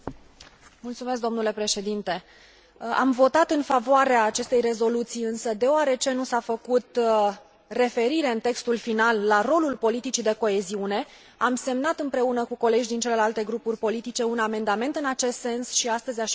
Am votat în favoarea acestei rezoluții, însă, deoarece nu s a făcut referire în textul final la rolul politicii de coeziune, am semnat împreună cu colegi din celelalte grupuri politice un amendament în acest sens și astăzi a și fost votat.